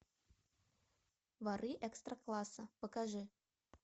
воры экстра класса покажи